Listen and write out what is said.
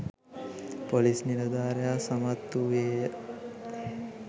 police නිලධාරියා සමත්වූයේය